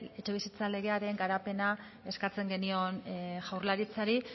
etxebizitza legearen garapena eskatzen genion jaurlaritzari